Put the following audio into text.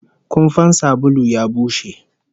Kumfan sabulu ya bushe